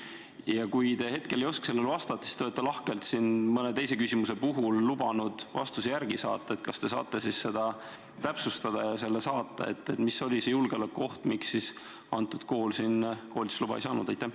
Ja kui te hetkel ei oska vastata, siis te olete lahkelt mõne teise küsimuse puhul lubanud vastuse kirjalikult saata, kas saate sedagi täpsustada ja saata meile vastuse, mis oli see julgeolekuoht, mille tõttu see kool siin koolitusluba ei saanud?